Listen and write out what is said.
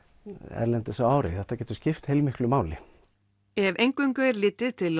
erlendis á ári þetta getur skipt heilmiklu máli ef eingöngu er litið til